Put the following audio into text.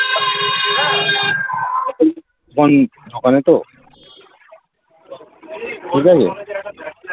এখন দোকানে তো ঠিক আছে